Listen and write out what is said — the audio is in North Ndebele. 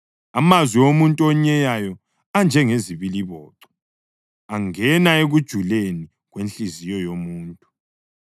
Amazwi omuntu onyeyayo anjengezibiliboco; angena ekujuleni kwenhliziyo yomuntu.